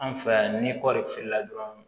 An fɛ yan ni kɔɔri feerela dɔrɔn